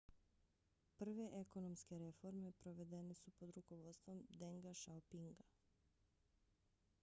prve ekonomske reforme provedene su pod rukovodstvom denga xiaopinga